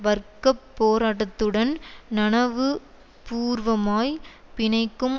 வர்க்க போராட்டத்துடன் நனவுபூர்வமாய் பிணைக்கும்